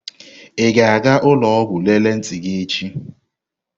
Ị ga-aga ụlọ ọgwụ lelee ntị gị echi?